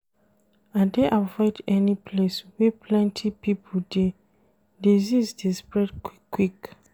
I dey avoid any place wey plenty pipo dey, disease dey spread quick-quick.